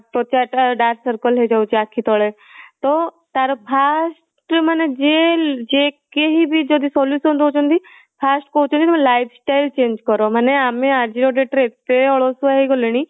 ତ୍ୱଚା ଟା dark circle ହେଇଯାଉଛି ଆଖି ତଳେ ତ ତା ର vast ମାନେ ଯିଏ ଯିଏ କେହି ବି solution ଦଉଛନ୍ତି first କହୁଛନ୍ତି ତମ lifestyle change କର ମାନେ ଆମେ ଆଜି ର date ରେ ଏତେ ଅଳସୁଆ ହେଇଗଲେଣି